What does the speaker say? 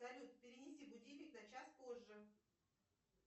салют перенеси будильник на час позже